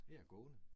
Jeg er gående